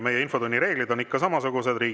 Meie infotunni reeglid on ikka.